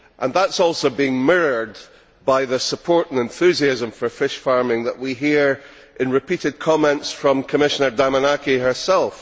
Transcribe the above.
That is also mirrored by the support and enthusiasm for fish farming which we have heard in repeated comments from Commissioner Damanaki herself.